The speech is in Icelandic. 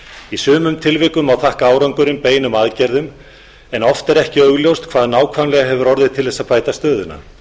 í sumum tilvikum má þakka árangurinn beinum aðgerðum en oft er ekki augljóst hvað nákvæmlega hefur orðið til að bæta stöðuna